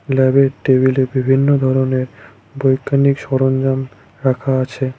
ল্যাবের টেবিলে বিভিন্ন ধরনের বৈজ্ঞানিক সরঞ্জাম রাখা আছে।